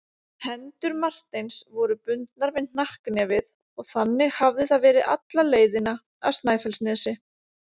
Hendur Marteins voru bundnar við hnakknefið og þannig hafði það verið alla leiðina af Snæfellsnesi.